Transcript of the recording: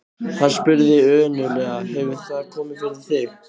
Hann spurði önuglega: Hefur það komið fyrir þig?